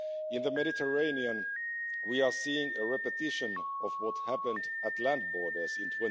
In the Mediterranean, we are seeing a repetition of what happened at land borders in